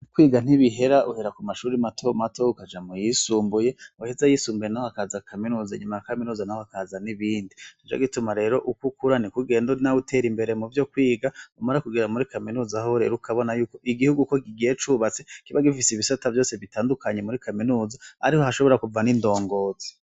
Kwiga ntibihera uhera kumashure mato mato ukaja muyisumbuye uheza ayisumbuye hakaza kaminuza inyuma ya kaminuza hakaza n'ibindi nico gituma rero uko ukura niko ugenda nawe utera imbere muvyo kwiga umara kugera muri kaminuza hoho ukabona yuko igihugu iyo kigiye cubatse kiba gifise ibisata vyose bitandukanye muri kaminuza ariho hashobora kuva ni ndongozi.